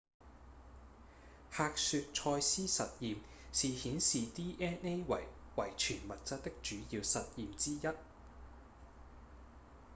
赫雪-蔡司實驗是顯示 dna 為遺傳物質的主要實驗之一